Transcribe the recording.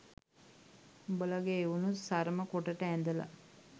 උඹලගේ එවුනුත් සරම කොටට ඇදලා